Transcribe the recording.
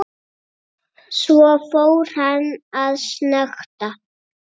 Svo fór hann að snökta.